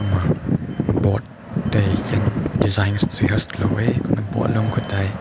kumma board te hing design tsui hek na kumma pout lung kai tai.